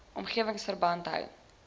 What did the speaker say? omgewing verband hou